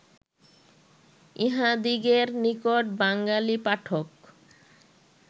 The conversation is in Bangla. ইঁহাদিগের নিকট বাঙ্গালী পাঠক